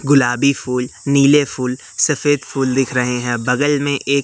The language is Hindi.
गुलाबी फूल नीले फूल सफेद फूल दिख रहे हैं बगल में एक--